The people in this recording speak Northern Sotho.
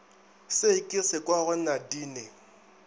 se ke se kwago nadine